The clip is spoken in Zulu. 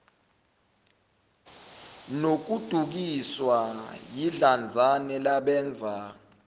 nokudukiswa yidlanzana labenza